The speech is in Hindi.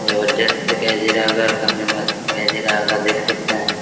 जबरदस्त दिखाई दे रहा होगा और काफी मस्त दिखाई दे रहा होगा देख सकते हैं|